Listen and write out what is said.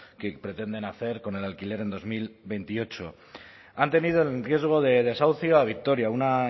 que pretenden hacer con el alquiler en dos mil veintiocho han tenido en riesgo de desahucio a victoria una